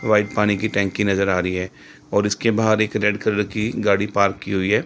White पानी की टंकी नजर आ रही है और इसके बाहर एक रेड कलर की गाड़ी पार्क की हुई है।